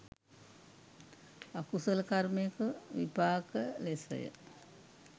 අකුසල කර්මයක විපාක ලෙසය.